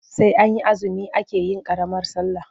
Sai an yi azumi ake yin ƙaramar sallah.